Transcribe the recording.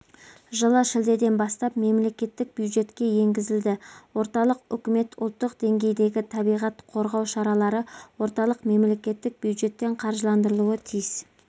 жылы шілдеден бастап мемлекеттік бюджетке енгізілді орталық үкімет ұлттық деңгейдегі табиғат қорғау шаралары орталық мемлекеттік бюджеттен қаржыландырылуы тиіс